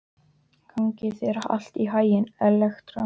Gangi þér allt í haginn, Elektra.